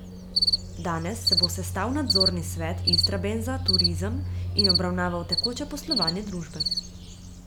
Danes se bo sestal nadzorni svet Istrabenza Turizem in obravnaval tekoče poslovanje družbe.